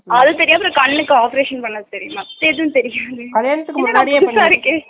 அது தெரியாம heart ல operation பண்ணது தெரியுமா ? எதுவும் தெரியாதே என்னடா இது புதுசா இருக்கே